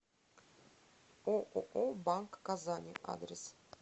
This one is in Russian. ооо банк казани адрес